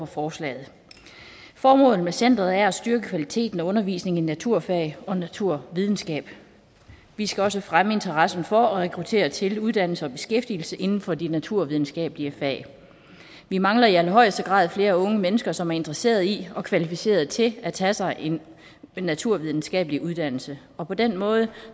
forslaget formålet med centeret er at styrke kvaliteten og undervisningen i naturfag og naturvidenskab vi skal også fremme interessen for at rekruttere til uddannelse og beskæftigelse inden for de naturvidenskabelige fag vi mangler i allerhøjeste grad flere unge mennesker som er interesseret i og kvalificeret til at tage sig en naturvidenskabelig uddannelse og på den måde